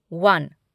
one